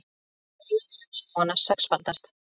Eyðing regnskóganna sexfaldast